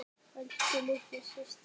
Elsku, litla systir mín.